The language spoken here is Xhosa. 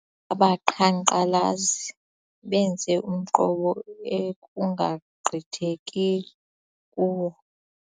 Abaqhankqalazi benze umqobo ekungagqithekiyo kuwo.